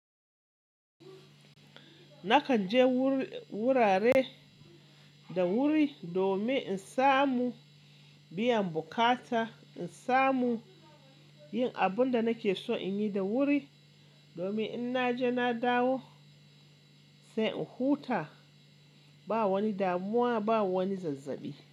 Nakan je wur- wurare da wuri domin in samu biyan bukata, in samu yin abun da nake so in yi da wuri, domin in naje na dawo sai in huta. Ba wani damuwa, ba wani zazzabi.